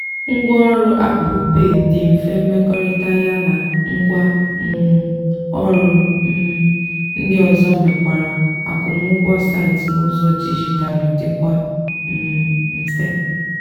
ngwa ọrụ apple pay dị mfe mmekọrịta ya na ngwa um ọrụ um ndị ozo mekwara akwụmụụgwọ site n'ụzọ dijitalu dịkwa um mfe.